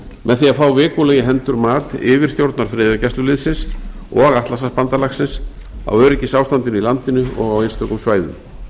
með því að fá vikulega í hendur mat yfirstjórnar friðargæsluliðsins og atlantshafsbandalagsins á öryggisástandinu í landinu og á einstökum svæðum